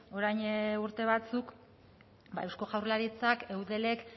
orain urte batzuk eusko jaurlaritzak eudelek